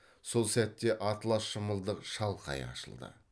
сол сәтте атлас шымылдық шалқая ашылды